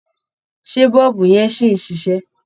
Ṣé bọ̀ọ̀bù yẹn sì ń ṣiṣẹ́?